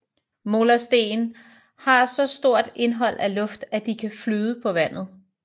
Molersten har så stort indhold af luft at de kan flyde på vand